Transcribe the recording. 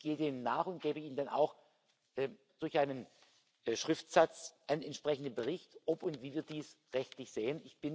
Ich gehe denen nach und gebe Ihnen dann auch durch einen Schriftsatz einen entsprechenden Bericht, ob und wie wir dies rechtlich sehen.